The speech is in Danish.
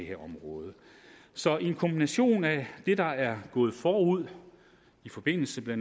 her område så en kombination af det der er gået forud i forbindelse med